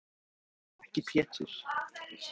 Flestir duttu fljótt í það aftur, en ekki Pétur.